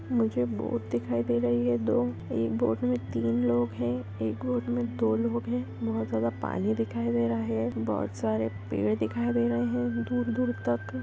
मुझे बोट दिखाई दे रही है दो एक बोट में तीन लोग है एक बोट में दो लोग है बोहत ज़यादा पानी दिखाई दे रहा है बोहत सारे पेड़ दिखाई दे रहे है दूर दूर तक ।